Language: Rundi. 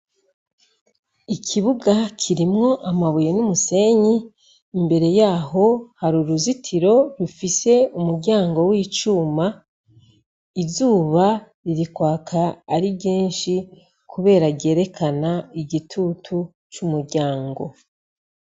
Ikibuga kirimwo amabuye n'umusenyi, imbere yaho har'uruzitiro rufise umuryango w'icuma, izuba riri kwaka ari ryinshi kubera ryereka igitutu c'umuryango.